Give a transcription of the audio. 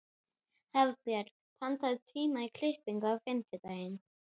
Hafbjörg, pantaðu tíma í klippingu á fimmtudaginn.